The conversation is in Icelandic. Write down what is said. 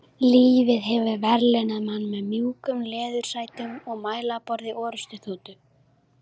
Lífið hefur verðlaunað mann með mjúkum leðursætum og mælaborði orrustuþotu.